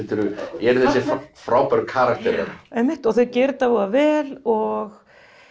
eru þessir frábæru karakterar einmitt og þau gera þetta voða vel og